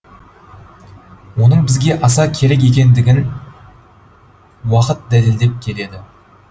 оның бізге аса керек екендігін уақыт дәлелдеп келеді